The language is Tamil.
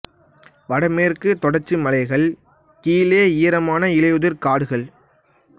வட மேற்குத் தொடர்ச்சி மலைகள் கீழே ஈரமான இலையுதிர் காடுகள்